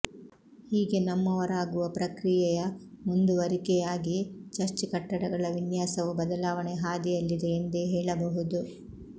ಹೀಗೆ ನಮ್ಮವರಾಗುವ ಪ್ರಕ್ರಿಯೆಯ ಮುಂದುವರಿಕೆಯಾಗಿ ಚರ್ಚ್ ಕಟ್ಟಡಗಳ ವಿನ್ಯಾಸವೂ ಬದಲಾವಣೆಯ ಹಾದಿಯಲ್ಲಿದೆ ಎಂದೇ ಹೇಳಬಹುದು